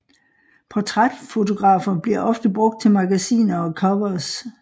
Portrætfotografer bliver ofte brugt til magasiner og covers